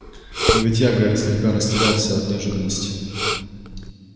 но ведь я гарри слегка растерялся от неожиданности